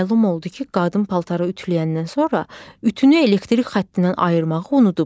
Məlum oldu ki, qadın paltarı ütüləyəndən sonra ütünü elektrik xəttindən ayırmağı unudub.